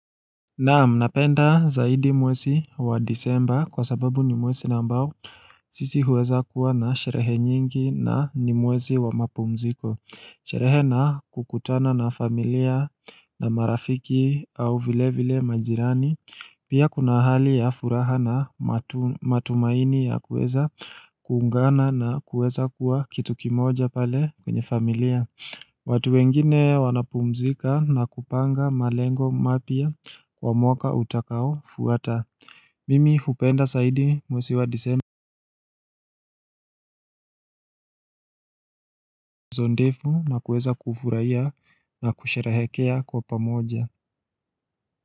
Naam napenda zaidi mwezi wa disemba kwasababu ni mwezi na ambao sisi huweza kuwa na sherehe nyingi na ni mwezi wa mapumziko Sherehe na kukutana na familia na marafiki au vile vile majirani Pia kuna hali ya furaha na matumaini ya kuweza kuungana na kuweza kuwa kitu kimoja pale kwenye familia watu wengine wanapumzika na kupanga malengo mapya wa mwaka utakaofuata Mimi hupenda zaidi mwezi wa disemba zondefu na kueza kufurahiya na kusherehekea kwa pamoja.